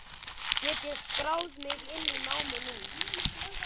Get ég skráð mig inn í námið núna?